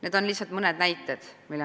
Need on lihtsalt mõned näited.